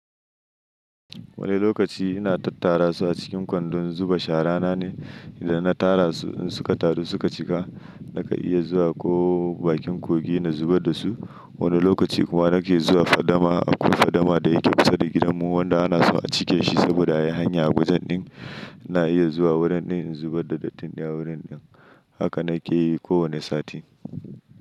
Wani lokaci ina tattara su a cikin kwandon zuba shara na ne, idan na tara su in suka taru suka cika, nakan iya zuwa ko bakin kogi na zubar da su. Wani lokaci kuma nake zuwa fadama akwai fadama da yake kusa da gidanmu wanda ana so a cike shi saboda yai hanya a wajen ɗin, ina iya zuwa wurin ɗin in zubar da dattin a wurin ɗin. Haka na ke yi kowane sati.